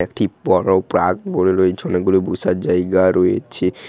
একটি বোরো প্রাগ বলে রয়েছে অনেকগুলো বসার জায়গা রয়েছে ।